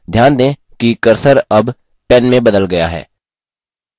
ध्यान दें कि cursor अब pen में बदल गया है